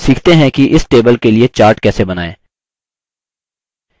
सीखते हैं कि इस table के लिए chart कैसे बनाएँ